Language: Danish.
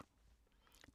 DR1